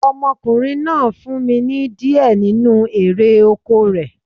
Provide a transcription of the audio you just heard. Ọmọkùnrin náà fún mi ní di ẹ nínu erè oko rẹ̀